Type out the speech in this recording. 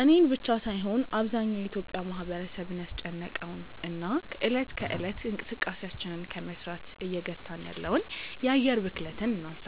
እኔን ብቻ ሳይሆን አብዛኛው የኢትዮጲያ ማህበረሰብን ያስጨነቀውን እና እለት ከእለት እንቅስቃሴያችንን ከመስራት እየገታን ያለውን የአየር ብክለትን እናንሳ።